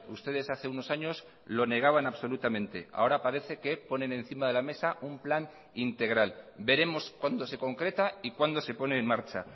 ustedes hace unos años lo negaban absolutamente ahora parece que ponen encima de la mesa un plan integral veremos cuándo se concreta y cuándo se pone en marcha